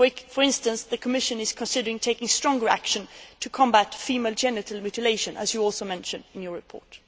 For instance, the Commission is concerning taking stronger action to combat female genital mutilation, as you also mention in your report.